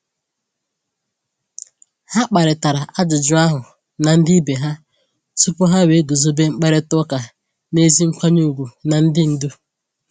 Ha kparịtara ajụjụ ahụ na ndị ibe ha tupu ha wee guzobe mkparịta ụka n’ezi nkwanye ùgwù na ndị ndu.